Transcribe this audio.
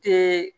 Te